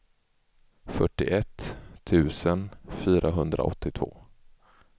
fyrtioett tusen fyrahundraåttiotvå